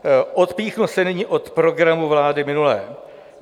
Odpíchnu se nyní od programu vlády minulé.